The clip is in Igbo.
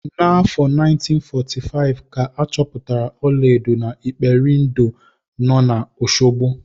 N'afọ 1945 ka a chọpụtara ọlaedo na Iperindo nọ na Oshogbo.